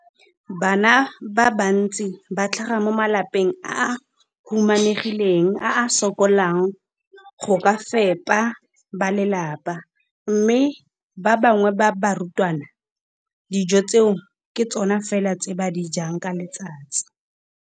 Bana ba le bantsi ba tlhaga mo malapeng a a humanegileng a a sokolang go ka fepa ba lelapa mme ba bangwe ba barutwana, dijo tseo ke tsona fela tse ba di jang ka letsatsi.